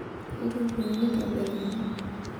intukuoyu intobiraki